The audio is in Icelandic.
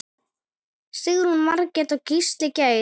Sigrún Margrét og Gísli Geir.